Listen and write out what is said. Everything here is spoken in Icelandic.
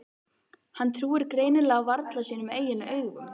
Hann trúir greinilega varla sínum eigin augum.